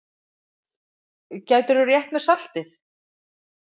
Gætirðu rétt mér saltið?